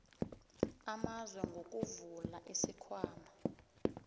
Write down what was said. amazwe ngokuvula isikhwama